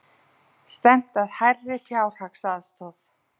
Stefnt að hærri fjárhagsaðstoð